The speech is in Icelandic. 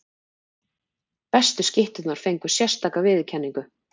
Bestu skytturnar fengu sérstaka viðurkenningu.